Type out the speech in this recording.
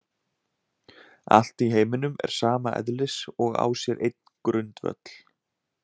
Allt í heiminum er sama eðlis og á sér einn grundvöll.